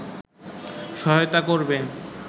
সহায়তা করবে